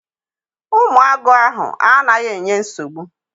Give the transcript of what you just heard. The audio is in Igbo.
Ụmụ agụ ahụ anaghị enye nsogbu.